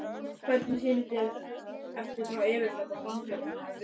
Hvernig sýnist þér eftir þá yfirferð að framkvæmdin hafi verið?